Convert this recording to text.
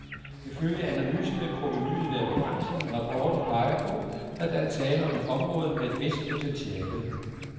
Ifølge analysen vil provenuet været begrænset, men rapporten peger på, at der er tale om et område med et vist potentiale.